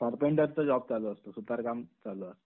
Job चालू असतो, सुतार काम चालू आहे.